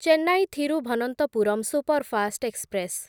Chennai Thiruvananthapuram superfast express